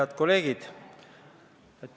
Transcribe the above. Head kolleegid!